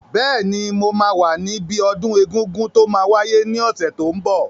Bẹ́ẹ̀ni, mo máa wà níbi ọdún egungun tó máa wáyé ní ọ̀sẹ̀ tó n bọ̀